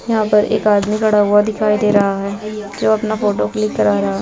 यहाँ पर एक आदमी खड़ा हुआ दिखाई दे रहा है जो अपना फोटो क्लिक करा रहा --